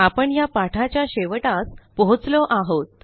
आपण ह्या पाठाच्या शेवटास पोहोचलो आहोत